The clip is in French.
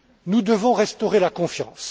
Nous devons restaurer la confiance.